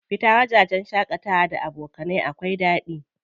Fita wajajen shaƙatawa da abokanai da daɗi.